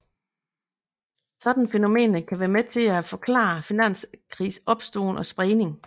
Sådanne fænomener kan være med til at forklare finanskrisers opståen og spredning